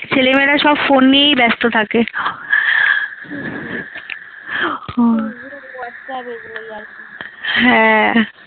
ছেলে মেয়েরা সব phone নিয়েই ব্যস্ত থাকে হ্যাঁ।